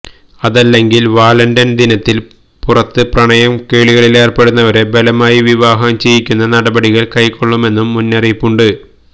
അതല്ലെങ്കില് വാലന്റൈന് ദിനത്തില് പുറത്ത് പ്രണയകേളികളിലേര്പ്പെടുന്നവരെ ബലമായി വിവാഹം ചെയ്യുക്കുന്ന നടപടികള് കൈക്കൊള്ളുമെന്നും മുന്നറിയിപ്പുണ്ട്